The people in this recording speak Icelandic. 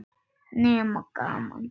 Nema gaman.